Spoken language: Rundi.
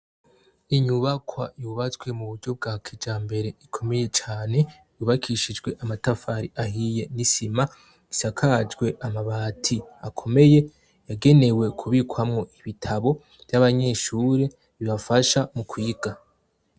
Inyubakwa yubatswe mu buryo bwa kijambere ikomeye cane yubakishijwe amatafari ahiye ni'sima isakajwe amabati akomeye yagenewe kubikwamwo ibitabo vy'abanyehure bibafsha mu kw'iga.